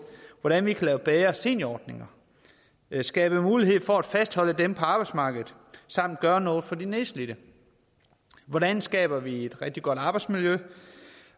hvordan vi kan lave bedre seniorordninger skabe mulighed for at fastholde dem på arbejdsmarkedet samt gøre noget for de nedslidte hvordan skaber vi et rigtig godt arbejdsmiljø